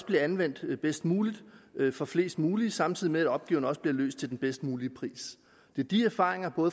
bliver anvendt bedst muligt for flest muligt samtidig med at opgaven også bliver løst til den bedst mulige pris det er de erfaringer